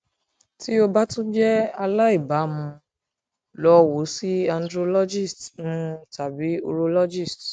ti o ba tun jẹ alaibamu lọ wo si andrologist um tabi urologist